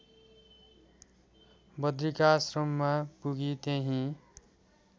बद्रिकाश्रममा पुगी त्यहिँ